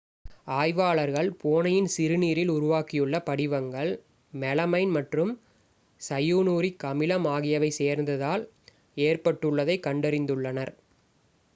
ஆய்வாளர்கள் பூனையின் சிறுநீரில் உருவாகியுள்ள படிவங்கள் மெலமைன் மற்றும் சயனூரிக் அமிலம் ஆகியவை சேர்ந்ததால் ஏற்பட்டுள்ளதை கண்டறிந்துள்ளனர்